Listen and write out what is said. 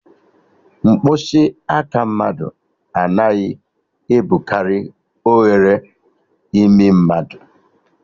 Mkpịsị aka mmadụ anaghị ebukari oghere imi mmadụ